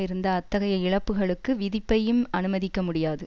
இருந்த அத்தைகய இழப்புகளுக்கு விதிப்பையும் அனுமதிக்க முடியாது